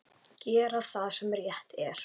Gera það sem rétt er.